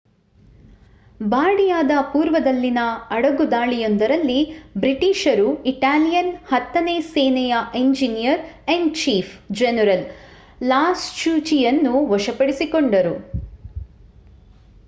ಬಾರ್ಡಿಯಾದ ಪೂರ್ವದಲ್ಲಿನ ಅಡಗುದಾಳಿಯೊಂದರಲ್ಲಿ ಬ್ರಿಟಿಷರು ಇಟಾಲಿಯನ್ ಹತ್ತನೇ ಸೇನೆಯ ಎಂಜಿನಿಯರ್-ಇನ್-ಚೀಫ್ ಜನರಲ್ ಲಾಸ್ಟುಚಿಯನ್ನು ವಶಪಡಿಸಿಕೊಂಡರು